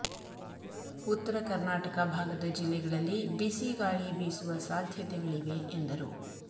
ಉತ್ತರ ಕರ್ನಾಟಕ ಭಾಗದ ಜಿಲ್ಲೆಗಳಲ್ಲಿ ಬಿಸಿ ಗಾಳಿ ಬೀಸುವ ಸಾಧ್ಯತೆಗಳಿವೆ ಎಂದರು